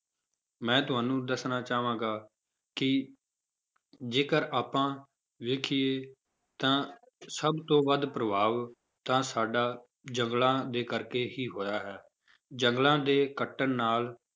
ਮੈਂ ਤੁਹਾਨੂੂੰ ਦੱਸਣਾ ਚਾਹਾਂਗਾ ਕਿ ਜੇਕਰ ਆਪਾਂ ਵੇਖੀਏ ਤਾਂ ਸਭ ਤੋਂ ਵੱਧ ਪ੍ਰਭਾਵ ਤਾਂ ਸਾਡਾ ਜੰਗਲਾਂ ਦੇ ਕਰਕੇ ਹੀ ਹੋਇਆ ਹੈ, ਜੰਗਲਾਂ ਦੇ ਕੱਟਣ ਨਾਲ